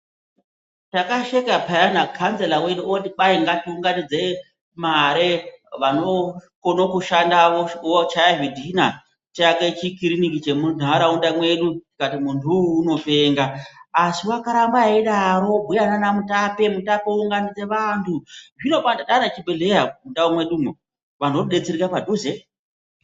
Takasheka peyana kanzera wedu oti kwai ngatiunganidze mare, vanokone kushanda vochaye zvidhina, tiake chikiriniki chemunharaunda mwedu tikati muntu wu unopenga asiwakarambe eidaro obhuya naamutape, mutape ounganidze vantu zvinopano mwaane chibhehleya mundau mwedu muno ,anhu odetsereka padhuze.